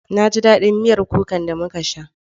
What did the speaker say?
Na ji daɗin miyar kukar da muka sha.